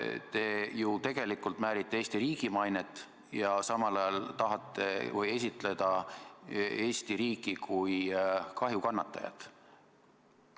Te ju tegelikult määrite Eesti riigi mainet ja samal ajal tahate esitleda Eesti riiki kui kahjukannatajat.